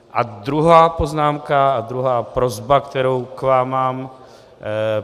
A druhá poznámka a druhá prosba, kterou k vám mám.